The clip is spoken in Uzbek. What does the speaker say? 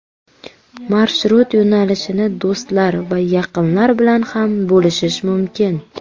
Marshrut yo‘nalishini do‘stlar va yaqinlar bilan ham bo‘lishish mumkin.